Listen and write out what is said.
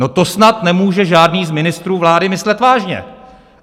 No to snad nemůže žádný z ministrů vlády myslet vážně!